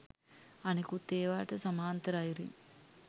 අනෙකුත් ඒවාට සමාන්තර අයුරින්